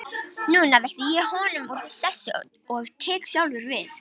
Núna velti ég honum úr sessi og tek sjálfur við.